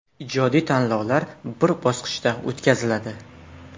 Ijodiy tanlov bir bosqichda o‘tkaziladi.